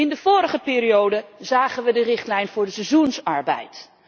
In de vorige periode zagen wij de richtlijn voor de seizoensarbeid.